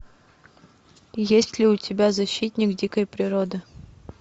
есть ли у тебя защитник дикой природы